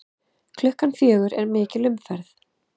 Klukkan fjögur er mikil umferð.